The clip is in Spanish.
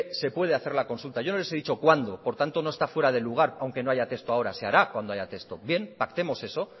se puede hacer la consulta yo no les he dicho cuándo por tanto no está fuera de lugar aunque no haya texto ahora se hará cuando haya texto bien pactemos eso